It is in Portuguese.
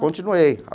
Continuei.